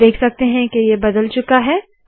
आप देख सकते है के ये बदल चूका है